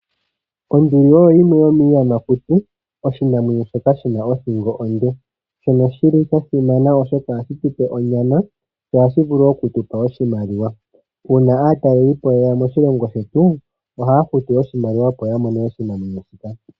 Onduli oyo yimwe yomiiyamakuti oshinamwenyo shoka shina othingo onde shono shili sha simana oshoka ohashi tupe onyama sho ohashi vulu woo okutupa oshinima uuna aatalelipo yeya moshilongo shetu ohaya futu oshimaliwa opo yamone oshinamwenyo shika.